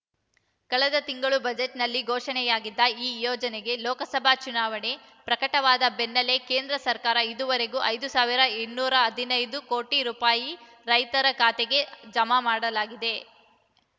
ಕಳೆದ ತಿಂಗಳು ಬಜೆಟ್‌ನಲ್ಲಿ ಘೋಷಣೆಯಾಗಿದ್ದ ಈ ಯೋಜನೆಗೆ ಲೋಕಸಭಾ ಚುನಾವಣೆ ಪ್ರಕಟವಾದ ಬೆನ್ನಲ್ಲೇ ಕೇಂದ್ರ ಸರ್ಕಾರ ಇದೂವರೆವಿಗೂ ಐದು ಸಾವಿರ ಇನ್ನೂರ ಹದಿನೈದು ಕೋಟಿ ರೂಪಾಯಿ ರೈತರ ಖಾತೆಗೆ ಜಮ ಮಾಡಲಾಗಿದೆ